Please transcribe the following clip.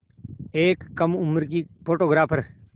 एक कम उम्र की फ़ोटोग्राफ़र